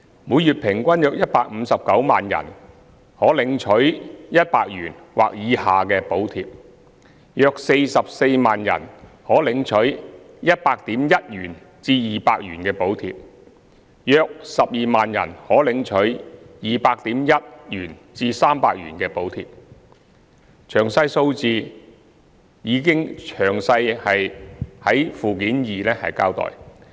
每月平均約159萬人可領取100元或以下的補貼，約44萬人可領取 100.1 元至200元的補貼，約12萬人可領取 200.1 元至300元的補貼，詳細數字已在附件二詳細交代。